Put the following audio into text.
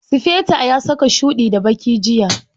Sufeto ya saka shuɗi da baki jiya.